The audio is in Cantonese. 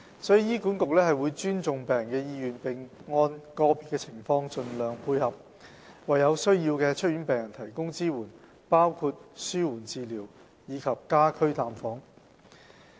所以，醫管局會尊重病人的意願，並按個別情況盡量配合，為有需要的出院病人提供支援，包括紓緩治療及家居探訪。